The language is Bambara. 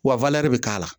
Wa bɛ k'a la